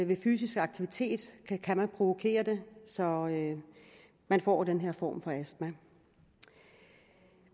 ved fysisk aktivitet kan man provokere det så man får den her form for astma